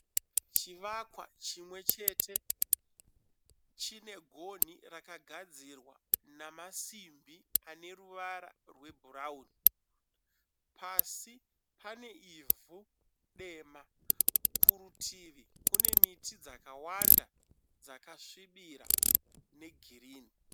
Chivakwa chimwe chete chine gonhi rakagadzirwa nemasimbi aneruvara rwebhurawuni. Pasi pane ivhu dema. Kurutivi kune miti dzakawanda dzakasvibira negirinhi.